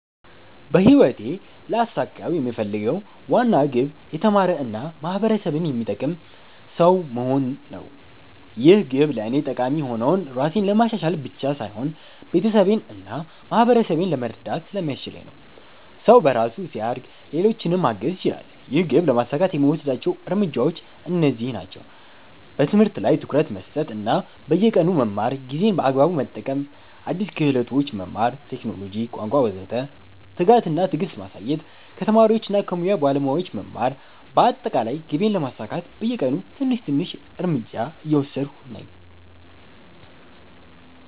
በህይወቴ ልያሳካው የምፈልገው ዋና ግብ የተማረ እና ማህበረሰብን የሚጠቅም ሰው መሆን ነው። ይህ ግብ ለእኔ ጠቃሚ የሆነው ራሴን ለማሻሻል ብቻ ሳይሆን ቤተሰቤን እና ማህበረሰቤን ለመርዳት ስለሚያስችለኝ ነው። ሰው በራሱ ሲያድግ ሌሎችንም ማገዝ ይችላል። ይህን ግብ ለማሳካት የምወስዳቸው እርምጃዎች እነዚህ ናቸው፦ በትምህርት ላይ ትኩረት መስጠት እና በየቀኑ መማር ጊዜን በአግባቡ መጠቀም አዲስ ክህሎቶች መማር (ቴክኖሎጂ፣ ቋንቋ ወዘተ) ትጋት እና ትዕግስት ማሳየት ከተማሪዎች እና ከሙያ ባለሞያዎች መማር በአጠቃላይ ግቤን ለማሳካት በየቀኑ ትንሽ ትንሽ እርምጃ እየወሰድሁ ነኝ።